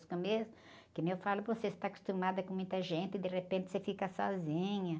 Os começos... Como eu falo para você, você está acostumada com muita gente e, de repente, você fica sozinha.